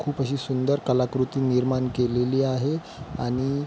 खुप अशी सुंदर कलाकृती निर्माण केलेली आहे आणि--